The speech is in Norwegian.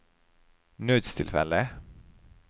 nødstilfelle